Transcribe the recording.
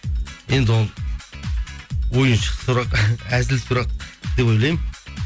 енді ол ойыншы сұрақ әзіл сұрақ деп ойлаймын